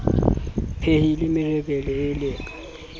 mpehile merebele e le ka